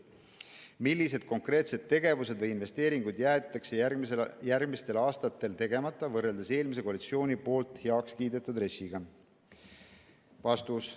Millised konkreetsed tegevused või investeeringud jäetakse järgmistel aastatel tegemata, võrreldes eelmise koalitsiooni poolt heaks kiidetud RES-iga?